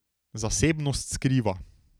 Zasebnost skriva.